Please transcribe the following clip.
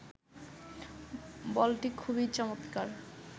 বলটি খুবই চমৎকার